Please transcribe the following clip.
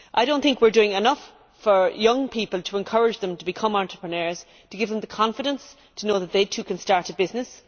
I do not think we are doing enough for young people to encourage them to become entrepreneurs, to give them the confidence to know that they too can start a business.